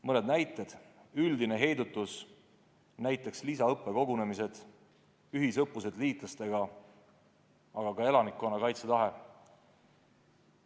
Mõni näide üldise heidutuse kohta: lisaõppekogunemised, ühisõppused liitlastega, aga ka elanikkonna kaitsetahe.